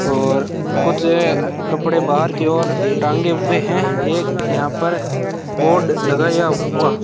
और कुछ कपड़े बाहर की और टांगे हुए हैं एक यहां पर बोर्ड लगाया हुआ --